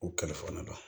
U kalifokɔnɔna la